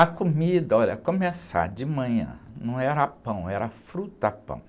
A comida, olha, a começar de manhã, não era pão, era fruta-pão.